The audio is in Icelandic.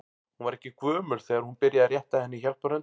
Hún var ekki gömul þegar hún byrjaði að rétta henni hjálparhönd.